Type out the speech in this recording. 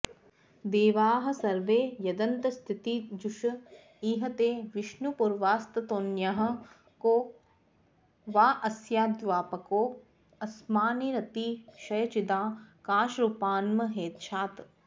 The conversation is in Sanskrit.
देवाः सर्वे यदन्तस्थितिजुष इह ते विष्णुपूर्वास्ततोन्यः को वाऽस्याद्व्यापकोऽस्मान्निरतिशयचिदाकाशरूपान्महेशात्